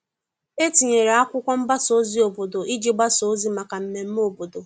E tinyere akwụkwo mgbasa ozi obodo iji gbasa ozi maka mmeme obodo.